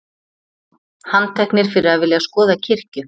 Handteknir fyrir að vilja skoða kirkju